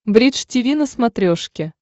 бридж тиви на смотрешке